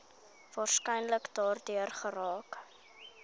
waarskynlik daardeur geraak